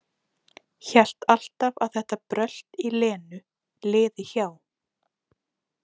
Hélt alltaf að þetta brölt í Lenu liði hjá.